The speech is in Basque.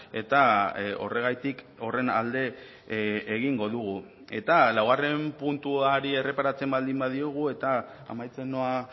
eta horregatik horren alde egingo dugu eta laugarren puntuari erreparatzen baldin badiogu eta amaitzen noa